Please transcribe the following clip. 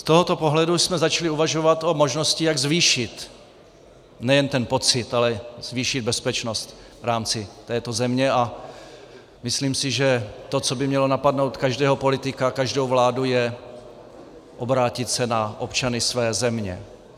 Z tohoto pohledu jsme začali uvažovat o možnosti, jak zvýšit nejen ten pocit, ale zvýšit bezpečnost v rámci této země, a myslím si, že to, co by mělo napadnout každého politika, každou vládu, je obrátit se na občany své země.